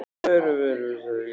Þau eru vel sett í geymslunum.